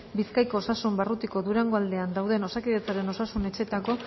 bizkaiko osasun barrutik durangoaldean daude osakidetzaren osasun etxeetako